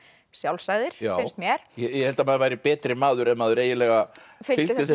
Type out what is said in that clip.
sjálfsagðir finnst mér ég held að maður væri betri maður ef maður fylgdi þessu